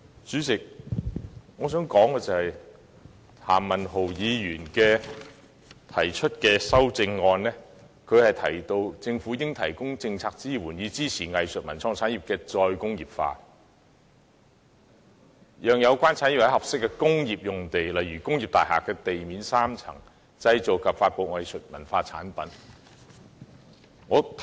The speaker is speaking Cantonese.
主席，我想指出，譚文豪議員在修正案中提到："政府應提供政策支援，以支持藝術文創產業的'再工業化'，讓有關產業在合適工業用地製造及發布藝術文創產品"。